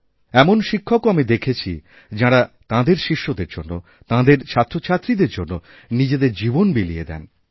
এমন শিক্ষকও আমি দেখেছি যাঁরা তাঁদের শিষ্যদের জন্য তাঁদের ছাত্রছাত্রীদেরজন্য নিজের জীবন বিলিয়ে দেন